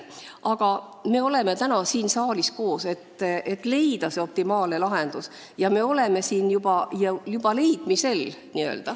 Aga me oleme täna siin saalis koos selleks, et leida optimaalne lahendus, ja me oleme seda juba leidmas.